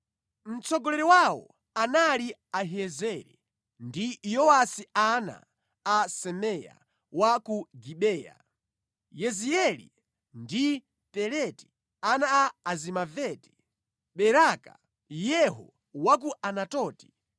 Mtsogoleri wawo anali Ahiyezeri ndi Yowasi ana a Semaya wa ku Gibeya; Yezieli ndi Peleti ana a Azimaveti; Beraka, Yehu wa ku Anatoti,